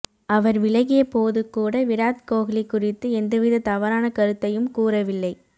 அவர் விலகியபோது கூட விராத் கோஹ்லி குறித்து எந்தவித தவறான கருத்தையும் கூறவில்லை